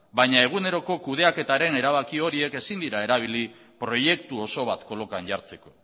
baina eguneroko kudeaketaren erabaki horiek ezin dira erabili proiektu oso bat kolokan jartzeko